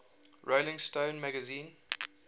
rolling stone magazine